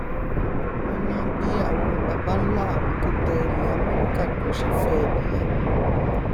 wọn ní bí àwọn babánlá àwọn tó tẹ ilẹ amẹrika dó ṣe fẹ ẹ nìyẹn